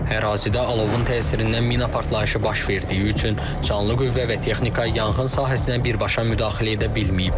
Ərazidə alovun təsirindən mina partlayışı baş verdiyi üçün canlı qüvvə və texnika yanğın sahəsinə birbaşa müdaxilə edə bilməyib.